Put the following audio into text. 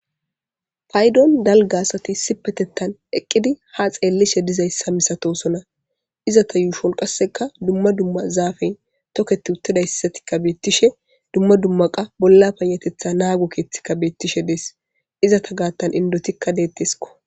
Paydon dalga asati sipetettan eqqidi ha xeellishe dizayssa misatosona izata yuushon qasseka dumma dumma zaafey toketi uttidayssatikka beettishe dumma dumma qa bolla panatetha naagu keeththikka beettishe dees izata gaattan indotikka deetteskko